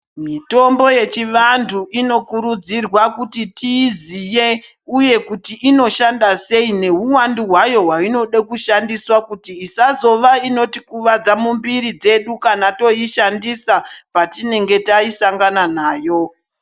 Mitombo yechivantu inokurudzirwa kuti tiiziye uye kuti inoshanda sei nehuwandu hwayo hwainoda kushandiswa kuti isazova inotikuvadza mumwiri dzedu kana toishandisa patinenge tasangana nayo.